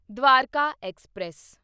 Dwarka express